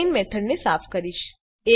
પહેલા હું main method ને સાફ કરીશ